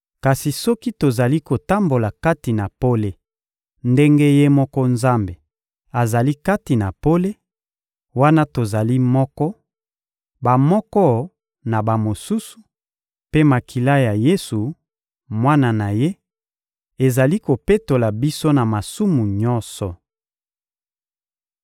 Kasi soki tozali kotambola kati na pole ndenge Ye moko Nzambe azali kati na pole, wana tozali moko, bamoko na bamosusu, mpe makila ya Yesu, Mwana na Ye, ezali kopetola biso na masumu nyonso.